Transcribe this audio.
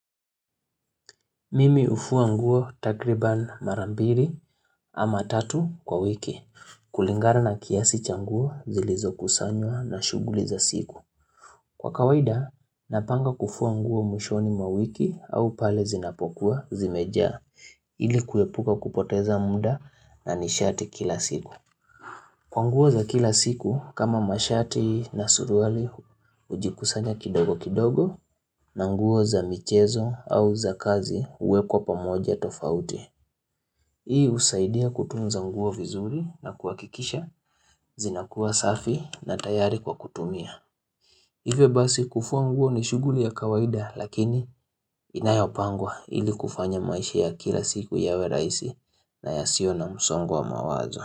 Mimi hufuwa nguo takriban marambiri ama tatu kwa wiki, kulingana na kiasi changuo zilizokusanywa na shughuli za siku. Kwa kawaida, napanga kufuwa nguo mwishoni mwawiki au pale zinapokua zimejaa, ili kuepuka kupoteza muda na nishati kila siku. Kwa nguo za kila siku, kama mashati na suruali ujikusanya kidogo kidogo na nguo za michezo au za kazi uwekwa pamoja tofauti. Hii husaidia kutunza nguo vizuri na kuhakikisha zinakuwa safi na tayari kwa kutumia. Hivyo basi kufua nguo ni shughuli ya kawaida lakini inayopangwa ili kufanya maisha ya kila siku yawe raisi na ya sio na msongwa mawazo.